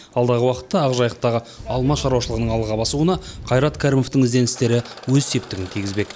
алдағы уақытта ақжайықтағы алма шаруашылығының алға басуына қайрат кәрімовтің ізденістері өз септігін тигізбек